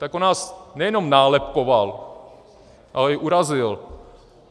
Tak on nás nejenom nálepkoval, ale i urazil.